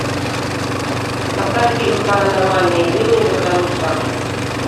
поставь фильм паранормальные явления за гранью страха